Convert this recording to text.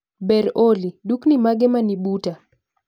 Berr Olly, dukni mage mani buta